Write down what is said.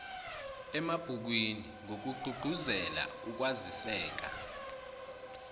emabhukwini ngokugqugquzela ukwaziseka